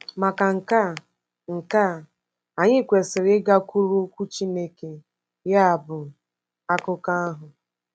Maka nke a, nke a, anyị kwesịrị ịgakwuru Okwu Chineke, ya bụ, Akụkọ ahụ.